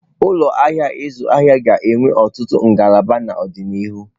Ụlọ ahịa ịzụ ahịa ga-enwe ọtụtụ ngalaba n'ọdịnihu.